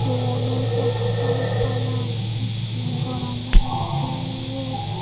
luoloi postar ekkan agey billing goran oley dup.